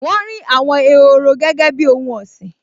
Wọ́n rí àwọn ehoro gẹ́gẹ́ bíi ohun ọ̀sìn